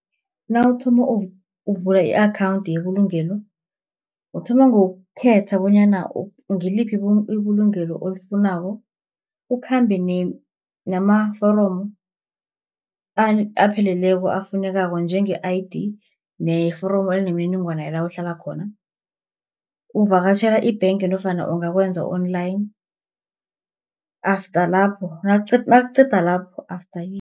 Nawuthoma ukuvula i-akhawunthi yebulugelo, uthoma ngokukhetha bonyana ngiliphi ibulungelo olifunako. Ukhambe namaforomo apheleleko afunekako njenge-I_D, neforomo enemininingwana yala uhlala khona. Uvakatjhela i-bank nofana ungakwenza online, after lapho nawuqeda lapho